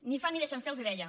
ni fan ni deixen fer els deia